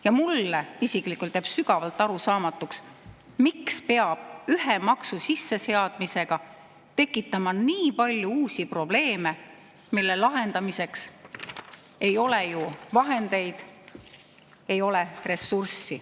Ja mulle isiklikult jääb sügavalt arusaamatuks, miks peab ühe maksu sisseseadmisega tekitama nii palju uusi probleeme, mille lahendamiseks ei ole ju vahendeid, ei ole ressurssi.